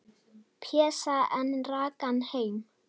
Pésa, en rak hann heim.